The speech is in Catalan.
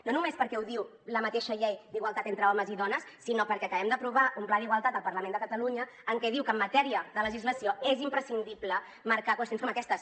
no només perquè ho diu la mateixa llei d’igualtat entre homes i dones sinó perquè acabem d’aprovar un pla d’igualtat al parlament de catalunya que diu que en matèria de legislació és imprescindible marcar qüestions com aquestes